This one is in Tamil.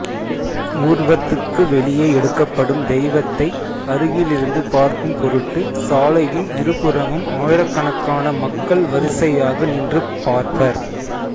ஊர்வத்துக்கு வெளியே எடுக்கப்படும் தெய்வத்தை அருகிலிருந்து பார்க்கும் பொருட்டு சாலையின் இருபுறமும் ஆயிரக்கணக்கான மக்கள் வரிசையாக நின்று பார்ப்பர்